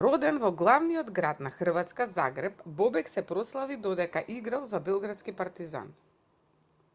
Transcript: роден во главниот град на хрватска загреб бобек се прославил додека играл за белградски партизан